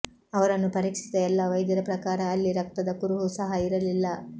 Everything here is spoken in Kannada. ಅವರನ್ನು ಪರೀಕ್ಷಿಸಿದ ಎಲ್ಲ ವೈದ್ಯರ ಪ್ರಕಾರ ಅಲ್ಲಿ ರಕ್ತದ ಕುರುಹು ಸಹಾ ಇರಲಿಲ್ಲ